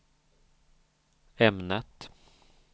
ämnet